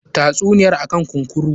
Tatsuniyar akan kunkura.